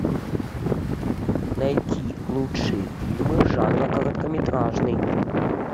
найти лучшие фильмы жанра короткометражный